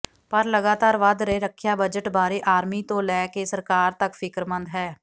ਪਰ ਲਗਾਤਾਰ ਵਧ ਰਹੇ ਰੱਖਿਆ ਬਜਟ ਬਾਰੇ ਆਰਮੀ ਤੋਂ ਲੈ ਕੇ ਸਰਕਾਰ ਤੱਕ ਫਿਕਰਮੰਦ ਹੈ